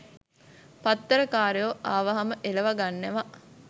පත්තර කාරයෝ ආවහම එලව ගන්නවා.